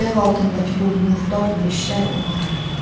Ayaq altındakı bu murdar leşlər onlara aiddir.